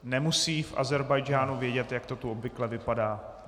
Nemusejí v Ázerbájdžánu vědět, jak to tu obvykle vypadá.